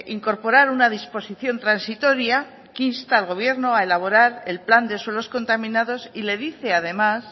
incorporar una disposición transitoria que insta al gobierno a elaborar el plan de suelos contaminados y le dice además